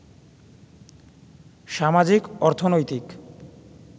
সামাজিক, অর্থনৈতিক